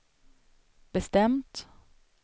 bestämt